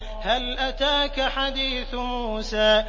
هَلْ أَتَاكَ حَدِيثُ مُوسَىٰ